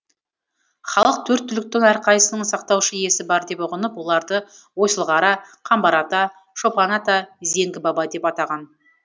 халық төрт түліктің әрқайсысының сақтаушы иесі бар деп ұғынып оларды ойсылқара қамбар ата шопан ата зеңгі баба деп атаған